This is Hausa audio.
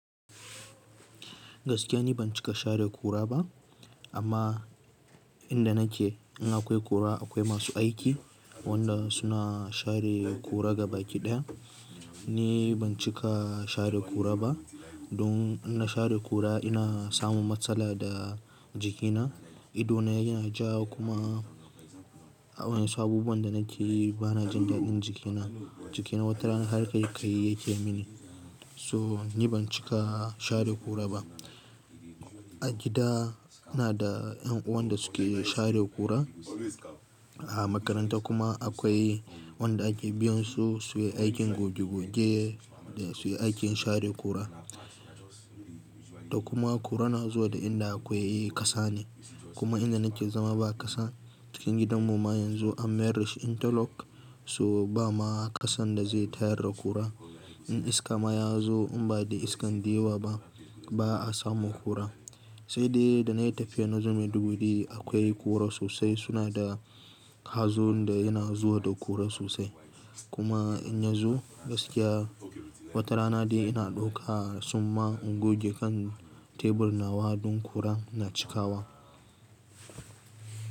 Gaskiya ni ban cika share kura ba amma inda nake in akwai kura akwai masu aiki wanda suna share kura gabakiɗaya. Ni ban cika share kura ba don in na share kura ina samun matsala da jikina, ido na yana ja kuma a wayansu abubuwan da nake yi bana jin daɗin jikina. Jikina wata rana har kai kai yake mini so ni ban cika share kura ba. A gida ina da yan uwan da suke share kura a makaranta kuma akwai wanda ake biyan su suyi aikin goge goge da suyi aikin share kura. Da kuma kura na zuwa da inda akwai ƙasa ne kuma inda nake zama ba ƙasa cikin gidan mu ma yanzu an mayar dashi interlock so ba ma ƙasan da zai tayar da kura. In iska ma ya zo in badai iskan dewa ba, ba a samun kura. Sai dai da na yi tafiya na zo Maiduguri akwai kura sosai suna da hazo da yana zuwa da kura sosai. Kuma in ya zo gaskiya wata rana dai ina ɗauka tsumma in goge kan tebur nawa don kura na cikawa.